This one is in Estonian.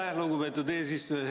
Aitäh, lugupeetud eesistuja!